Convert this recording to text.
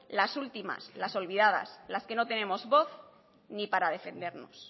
las últimas las olvidadas las que no tenemos voz ni para defendernos